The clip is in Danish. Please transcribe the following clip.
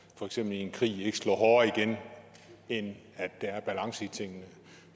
for eksempel i en krig ikke slår hårdere igen end at der er balance i tingene